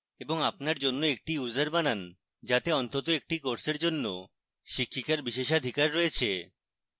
এবং আপনার জন্য একজন user বানান যাতে অন্তত একটি কোর্সের জন্য শিক্ষিকার বিশেষাধিকার রয়েছে